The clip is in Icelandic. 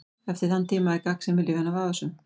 Eftir þann tíma er gagnsemi lyfjanna vafasöm.